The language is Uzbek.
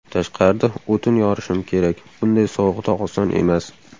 Tashqarida o‘tin yorishim kerak bunday sovuqda oson emas.